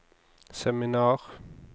seminar